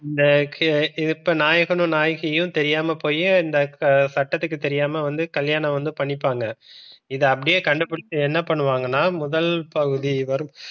இந்த இப்ப நாயகனும் நாயகியும் தெரியாமல் போய் இந்த சட்டத்துக்கு தெரியாம வந்து கல்யாணம் வந்து பண்ணிப்பாங்க இது அப்படியே கண்டுபிடித்து என்ன பண்ணுவாங்கன்னா முதல் பகுதி வரும்.